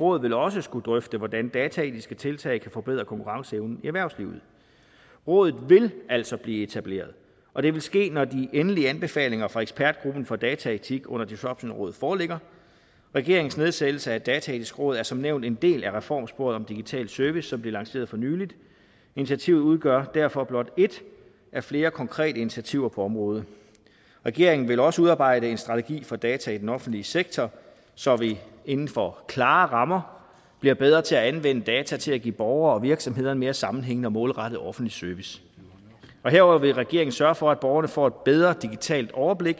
råd vil også skulle drøfte hvordan dataetiske tiltag kan forbedre konkurrenceevnen i erhvervslivet rådet vil altså blive etableret og det vil ske når de endelige anbefalinger fra ekspertgruppen for dataetik under disruptionrådet foreligger regeringens nedsættelse af er dataetisk råd er som nævnt en del af reformsporet om digital service som blev lanceret for nylig initiativet udgør derfor blot et af flere konkrete initiativer på området regeringen vil også udarbejde en strategi for data i den offentlige sektor så vi inden for klare rammer bliver bedre til at anvende data til at give borgere og virksomheder en mere sammenhængende og målrettet offentlig service herudover vil regeringen sørge for at borgerne får et bedre digitalt overblik